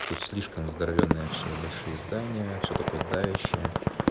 тут слишком здоровенная все большие здания все такое давящая